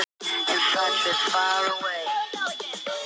Honum þótti ekki síður vænt um hana núna en þegar þau kynntust.